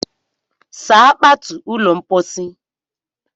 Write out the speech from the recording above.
Saa kpatu ụlọ mpochi!